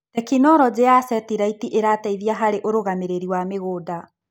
Tekinologĩ ya seteraiti ĩrateithia harĩ ũrũgamĩrĩri wa mĩgũnda.